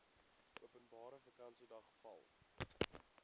openbare vakansiedag val